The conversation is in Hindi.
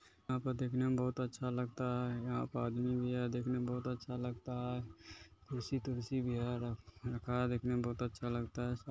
यहां पर देखने में बहुत अच्छा लगता है यहां पर आदमी है देखने में बहुत अच्छा लगता है कुर्सी तूर्सी भी है रखा है देखने मे बहुत अच्छा लगता है।